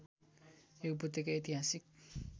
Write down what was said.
यो उपत्यका ऐतिहासिक